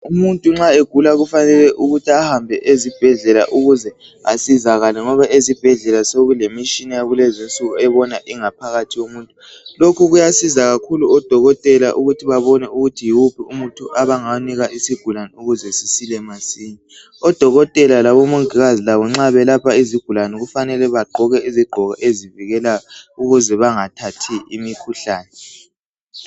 Umuntu nxa egula kufanele ukuthi ahambe esibhedlela ukuze asizakale ngoba ezibhedlela sokulemitshina yakulezinsuku ebona ingaphakathi yomuntu. Lokhu kuyasiza kakhulu odokotela ukuthi babone ukuthi yiwuphi umuthi abangawunika isigulane ukuze sisile masinya. Odokotela labomongikazi labo nxa belapha izigulane kufanele bagqoke izigqoko ezivikelayo ukuze bangathathi imikhuhlane.